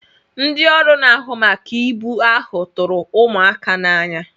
Ndị ọrụ na-ahụ maka ibu ahụ tụrụ ụmụaka n'anya.